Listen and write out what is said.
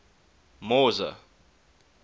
mauzer